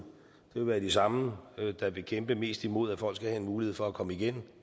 vil være de samme der vil kæmpe mest imod at folk skal have en mulighed for at komme igen